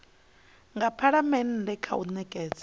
nga phalamennde kha u nekedza